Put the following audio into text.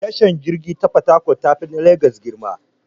Tashar jirgin ruwa na fatakwal yafi na legas girma.